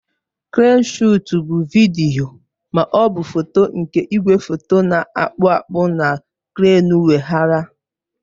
Kreenụ shọọtụ bụ vidiyo ma ọ bụ foto nke igwefoto na-akpụ akpụ na kreenụ weghaara.